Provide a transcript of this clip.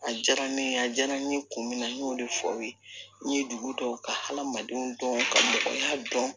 A diyara ne ye a diyara n ye kun min na n y'o de fɔ aw ye n ye dugu dɔw ka hadamadenw dɔn ka mɔgɔ ya dɔn